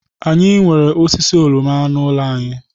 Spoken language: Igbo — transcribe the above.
Anyị nwere osisi oroma n'ụlọ anyị.